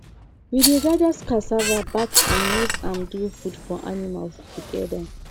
we dey gather cassava back and use am do food for animal together